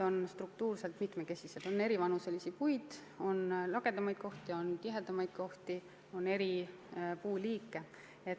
On eri vanuses puid, on lagedamaid kohti, on tihedamaid kohti, on eri puuliike.